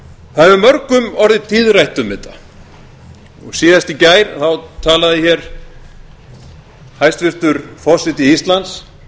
það hefur mörgum orðið tíðrætt um þetta og síðast í gær talaði hér hæstvirtur forseti íslands